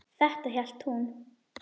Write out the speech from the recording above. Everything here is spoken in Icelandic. Þetta hélt hún.